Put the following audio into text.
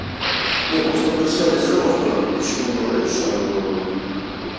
не просто большая дозировка почему говорю что